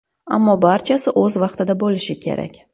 Ammo barchasi o‘z vaqtida bo‘lishi kerak.